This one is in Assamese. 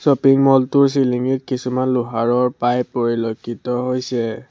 শ্ব'পিং মল টোৰ চিলিঙিত কিছুমান লোহাৰৰ পাইপ পৰিলক্ষিত হৈছে।